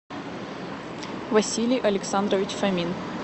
василий александрович фомин